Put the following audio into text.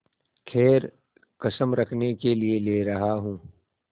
खैर कसम रखने के लिए ले रहा हूँ